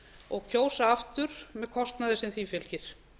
og kjósa aftur með kostnaði sem því fylgir